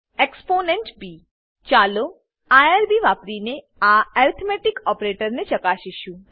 ab ચાલો IRB વાપરીને આ એર્થમેટીક ઓપરેટરોને ચકાસીશું